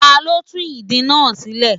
Ta ló tú ìdí náà sílẹ̀.?